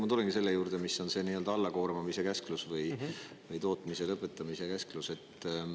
Ma tulengi selle juurde, mis on see n-ö allakoormamise käsklus või tootmise lõpetamise käsklus.